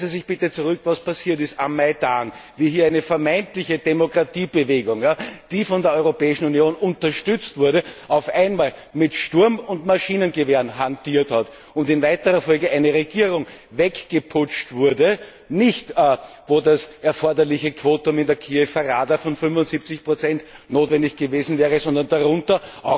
Erinnern Sie sich bitte zurück, was passiert ist am Maidan, wie hier eine vermeintliche Demokratiebewegung, die von der Europäischen Union unterstützt wurde, auf einmal mit Sturm und Maschinengewehren hantiert hat und in weiterer Folge eine Regierung weggeputscht wurde, nicht etwa mit dem erforderlichen Quorum in der Kiewer Roda von 75 das notwendig gewesen wäre, sondern darunter.